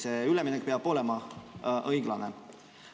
See üleminek peab olema õiglane.